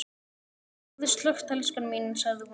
Hafðu slökkt elskan mín, sagði hún.